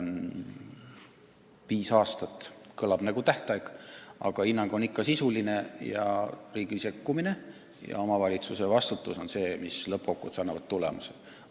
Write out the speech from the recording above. Viis aastat on lihtsalt tähtaeg, aga hinnang on ikkagi sisuline ning riigi sekkumine ja omavalitsuse vastutus lõppkokkuvõttes peaksid andma hea tulemuse.